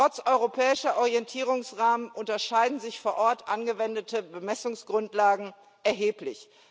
Trotz europäischer Orientierungsrahmen unterscheiden sich vor Ort angewendete Bemessungsgrundlagen erheblich.